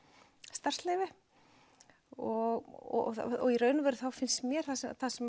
starfsleyfi og í raun og veru þá finnst mér það sem